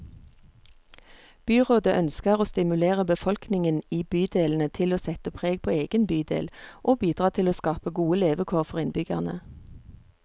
Byrådet ønsker å stimulere befolkningen i bydelene til å sette preg på egen bydel, og bidra til å skape gode levekår for innbyggerne.